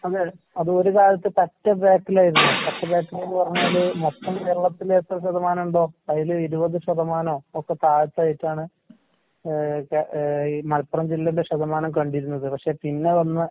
അതെ, അതൊര് കാലത്ത് പറ്റെ ബാക്കിലായിരുന്നു, പറ്റെ ബാക്കിലെന്ന് പറഞ്ഞാല് മൊത്തം കേരളത്തിലെത്ര ശതമാനോണ്ടോ അതില് ഇരുപത് ശതമാനോ ഒക്കെ താഴ്ത്തായിട്ടാണ് ഏഹ് കേ ഏഹ് ഈ മലപ്പുറം ജില്ലേന്റെ ശതമാനം കണ്ടിരുന്നത്. പക്ഷെ പിന്നെ വന്ന